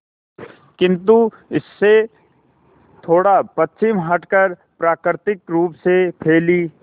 किंतु इससे थोड़ा पश्चिम हटकर प्राकृतिक रूप से फैली